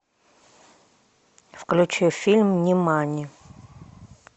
включи фильм нимани